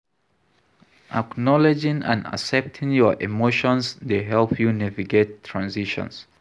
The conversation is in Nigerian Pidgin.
Acknowledging and accepting your emotions dey help you navigate transitions.